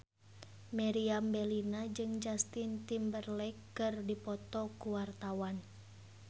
Meriam Bellina jeung Justin Timberlake keur dipoto ku wartawan